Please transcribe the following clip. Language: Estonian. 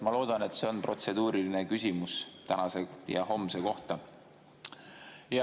Ma loodan, et see on protseduuriline küsimus tänase ja homse kohta.